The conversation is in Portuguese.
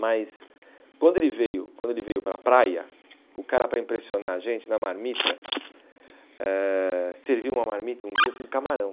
Mas quando ele veio quando ele para a praia, o cara, para impressionar a gente, na marmita, eh serviu uma marmita um dia com camarão.